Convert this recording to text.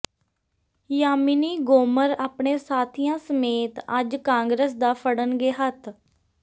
ਯਾਮਿਨੀ ਗੋਮਰ ਆਪਣੇ ਸਾਥੀਆਂ ਸਮੇਤ ਅੱਜ ਕਾਂਗਰਸ ਦਾ ਫੜਨਗੇ ਹੱਥ